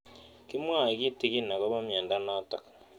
Kimwae kitig'in akopo miondo notok